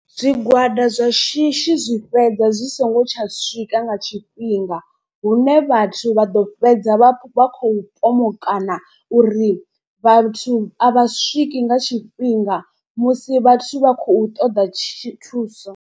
Zwigwada zwa shishi zwi fhedza zwi songo tsha swika nga tshifhinga. Hune vhathu vha ḓo fhedza vha vha khou pomokana uri vhathu a vha swiki nga tshifhinga musi vhathu vha khou ṱoḓa tshi thuso.